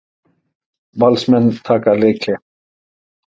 Valsmenn taka leikhlé